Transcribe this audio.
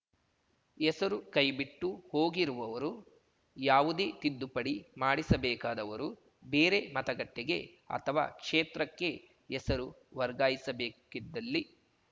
ಹೆಸರು ಕೈಬಿಟ್ಟು ಹೋಗಿರುವವರು ಯಾವುದೇ ತಿದ್ದುಪಡಿ ಮಾಡಿಸಬೇಕಾದವರು ಬೇರೆ ಮತಗಟ್ಟೆಗೆ ಅಥವಾ ಕ್ಷೇತ್ರಕ್ಕೆ ಹೆಸರು ವರ್ಗಾಯಿಸಬೇಕಿದ್ದಲ್ಲಿ